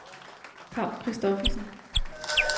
Paw Christophersen